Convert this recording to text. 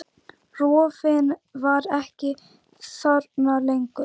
Rofinn var ekki þarna lengur.